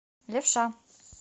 левша